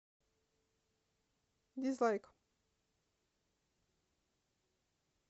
дизлайк